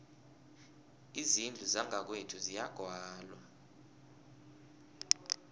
izindlu zangakwethu ziyagwalwa